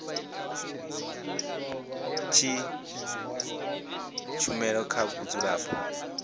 tshi ṅetshedza tshumelo kha vhadzulapo